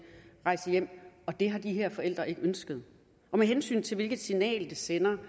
og det har de her forældre ikke ønsket med hensyn til hvilket signal det sender